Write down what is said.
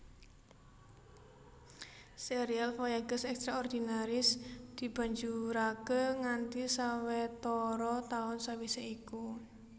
Sérial Voyages extraordinaires dibanjuraké nganti sawetara taun sawisé iku